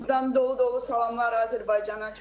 Burdan dolu-dolu salamlar Azərbaycana.